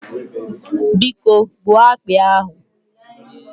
Biko gbuo akpị ahụ